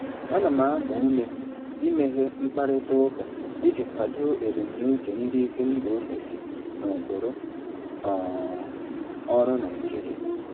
Ana m agba ume imeghe mkparịta ụka iji kwado ebumnuche ndị isi mba ofesi na ụkpụrụ um ọrụ Naijiria.